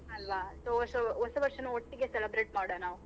ಅಲ್ವ. So ಹೊಸ ವರ್ಷನು ಒಟ್ಟಿಗೆ celebrate ಮಾಡುವ ನಾವು.